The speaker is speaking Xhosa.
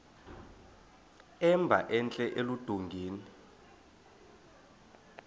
emba entla eludongeni